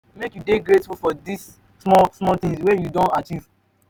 make you you dey grateful for di small small tins wey you don achieve.